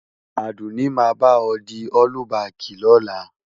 Àdùnní máa bá ọ di ọ́lúbaàkì lọ́la.